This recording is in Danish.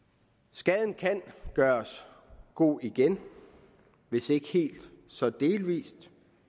skaden kan gøres god igen hvis ikke helt så delvis